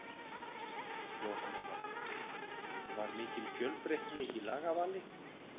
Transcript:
Jóhanna Margrét: Var mikil fjölbreytni í lagavali?